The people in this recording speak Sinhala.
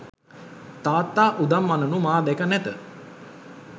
තාත්තා උදම් අනනු මා දැක නැත.